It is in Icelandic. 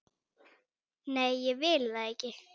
Nei, ég vil það ekki.